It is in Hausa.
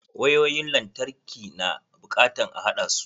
Wayoyin lantarki na bukatan a haɗasu.